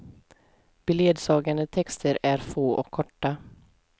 Beledsagande texter är få och korta.